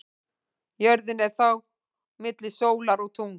Jörðin er þá milli sólar og tungls.